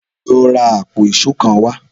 Lọ ra àpò ìṣó kan wá!